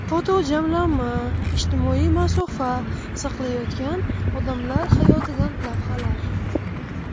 Fotojamlanma: Ijtimoiy masofa saqlayotgan odamlar hayotidan lavhalar.